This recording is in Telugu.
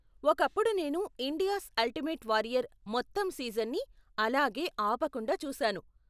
ఒకప్పుడు నేను 'ఇండియాస్ అల్టిమేట్ వారియర్' మొత్తం సీజన్ని అలాగే ఆపకుండా చూసాను.